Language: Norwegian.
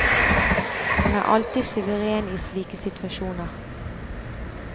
Han er alltid suveren i slike situasjoner.